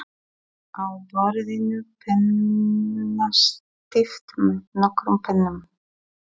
Á borðinu pennastatíf með nokkrum pennum.